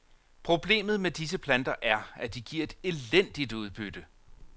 Problemet med disse planter er, at de giver et elendigt udbytte.